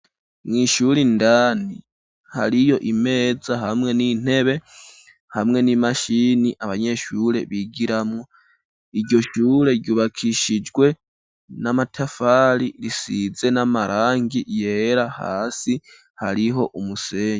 Mw'ishuri indani hariyo imeza hamwe n'intebe hamwe n'imashini abanyeshure bigiramwo, iryo shure ryubakishijwe n'amatafari risize n'amarangi yera, hasi hariho umusenyi.